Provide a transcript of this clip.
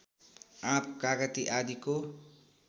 आँप कागति आदिको